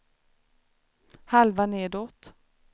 halva nedåt